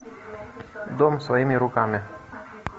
дом своими руками